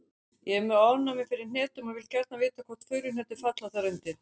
Ég er með ofnæmi fyrir hnetum og vil gjarnan vita hvort furuhnetur falli þar undir.